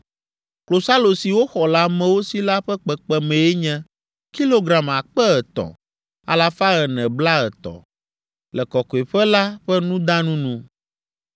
Klosalo si woxɔ le amewo si la ƒe kpekpemee nye kilogram akpe etɔ̃, alafa ene blaetɔ̃, le Kɔkɔeƒe la ƒe nudanu nu.